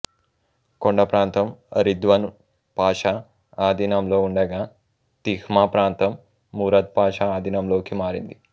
కొండప్రాంతం రిద్వన్ పాషా ఆధీనంలో ఉండగా తిహ్మా ప్రాంతం మురద్ పాషా అధీనంలోకి మారింది